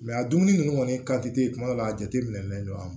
a dumuni ninnu kɔni ka di ye kuma dɔw la a jateminɛlen don